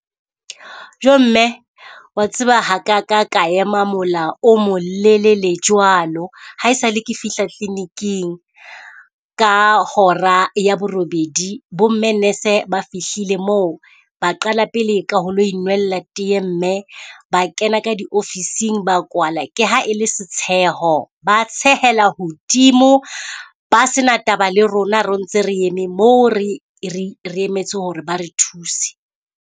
Jo mme wa tseba ha ka ka ka ema mola o molelele jwalo, haesale ke fihla clinic-ing. Ka hora ya borobedi bo mme nurse-e ba fihlile moo, ba qala pele ka ho lo inwella teye mme ba kena ka di ofising ba kwala. Ke ha e le setsheho ba tshehela hodimo, ba sena taba le rona re ntse re eme moo, re re re emetse ho re ba re thuse.